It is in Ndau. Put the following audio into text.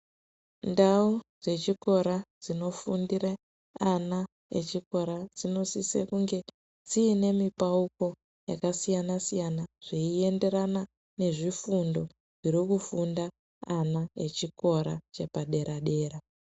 Ndau dzechikora dzinofundire ana echikora dzinosise kunge dziine mipauko yakasiyanasiyana zveiyenderana nezvifundo zviri kufunda ana echikora chepadera-dera.